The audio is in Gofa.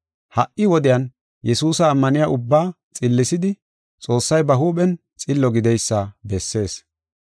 Ha77i wodiyan Yesuusa ammaniya ubbaa xillisidi, Xoossay ba huuphen xillo gideysa bessees.